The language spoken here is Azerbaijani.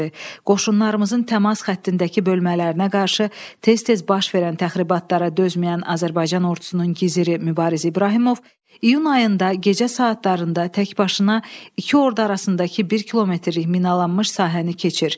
Qoşunlarımızın təmas xəttindəki bölmələrinə qarşı tez-tez baş verən təxribatlara dözməyən Azərbaycan ordusunun giziri Mübariz İbrahimov iyun ayında gecə saatlarında təkbaşına iki ordu arasındakı bir kilometrlik minalanmış sahəni keçir.